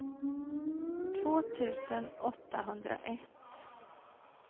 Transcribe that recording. två tusen åttahundraett